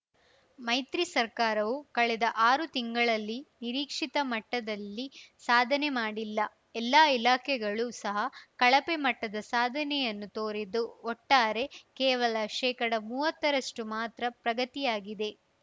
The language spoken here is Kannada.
ಮೈತ್ರಿ ಸರ್ಕಾರವು ಕಳೆದ ಆರು ತಿಂಗಳಲ್ಲಿ ನಿರೀಕ್ಷಿತ ಮಟ್ಟದಲ್ಲಿ ಸಾಧನೆ ಮಾಡಿಲ್ಲ ಎಲ್ಲಾ ಇಲಾಖೆಗಳು ಸಹ ಕಳಪೆ ಮಟ್ಟದ ಸಾಧನೆಯನ್ನು ತೋರಿದ್ದು ಒಟ್ಟಾರೆ ಕೇವಲ ಶೇಕಡಮುವತ್ತರಷ್ಟುಮಾತ್ರ ಪ್ರಗತಿಯಾಗಿದೆ